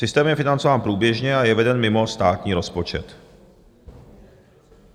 Systém je financován průběžně a je veden mimo státní rozpočet.